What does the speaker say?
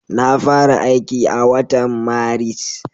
Na fara aiki a watan Maris.